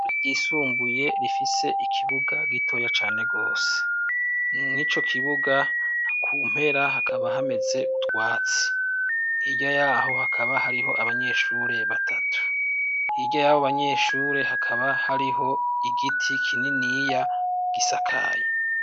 Isumbuye rifise ikibuga gitoya cane rwose nu ni co kibuga akumpera hakaba hameze utwatsi irya yaho hakaba hariho abanyeshure batatu irya yabo abanyeshure hakaba hariho igiti kinini yiiya gisakayi.